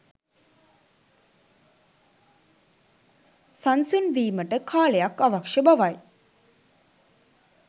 සංසුන් වීමට කාලයක් අවශ්‍ය බවයි